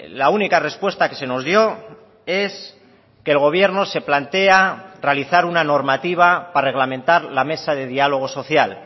la única respuesta que se nos dio es que el gobierno se plantea realizar una normativa para reglamentar la mesa de diálogo social